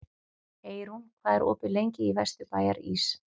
Eyrún, hvað er opið lengi í Vesturbæjarís?